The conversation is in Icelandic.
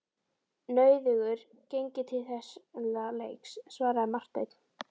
Nauðugur geng ég til þessa leiks, svaraði Marteinn.